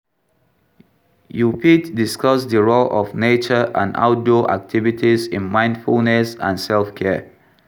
You fit discuss di role of nature and outdoor activities in mindfulness and self-care.